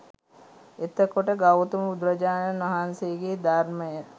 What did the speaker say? එතකොට ගෞතම බුදුරජාණන් වහන්සේගේ ධර්මය